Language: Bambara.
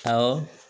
Awɔ